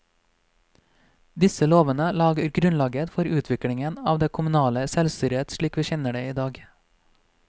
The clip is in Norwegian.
Disse lovene la grunnlaget for utviklingen av det kommunale selvstyret slik vi kjenner det i dag.